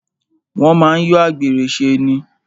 Wọ́n máa ń yọ àgbèrè ṣe ni.